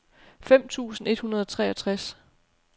fem tusind et hundrede og treogtres